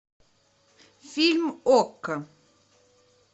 фильм окко